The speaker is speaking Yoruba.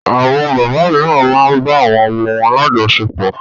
Àwọn bàbá mìíràn máa ń bá àwọn ọmọ wọn lájọsepọ̀.